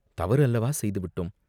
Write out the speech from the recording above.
தவறு அல்லவா செய்து விட்டோ ம்?